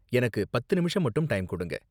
எனக்கு பத்து நிமிஷம் மட்டும் டைம் கொடுங்க.